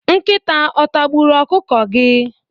Nkịta otagburu ọkụkọ gị?